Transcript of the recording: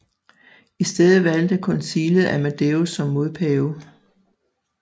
I stedet valgte koncilet Amadeus som modpave